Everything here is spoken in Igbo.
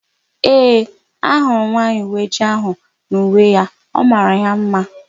Ee, ahụrụ m nwaanyị uweojii áhụ̀ n'uwe ya; ọ mara ya ḿmá.